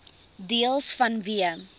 deels vanweë